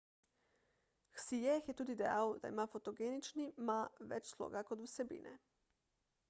hsieh je tudi dejal da ima fotogenični ma več sloga kot vsebine